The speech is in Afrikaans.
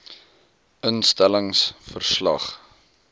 instel lings verslag